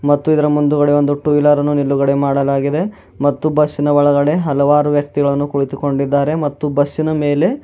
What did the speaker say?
ಮತ್ತು ಇದರ ಮುಂದುಗಡೆ ಒಂದು ಟೂ ವೀಲರನ್ನು ನಿಲುಗಡೆ ಮಾಡಲಾಗಿದೆ ಮತ್ತು ಬಸ್ಸಿನ ಒಳಗಡೆ ಹಲವಾರು ವ್ಯಕ್ತಿಗಳನ್ನು ಕುಳಿತುಕೊಂಡಿದ್ದಾರೆ ಮತ್ತು ಬಸ್ಸಿನ ಮೇಲೆ--